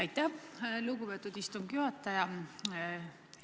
Aitäh, lugupeetud istungi juhataja!